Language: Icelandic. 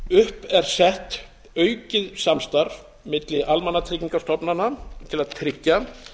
upp er sett aukið samstarf milli almannatryggingastofnana til að tryggja